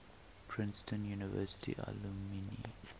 princeton university alumni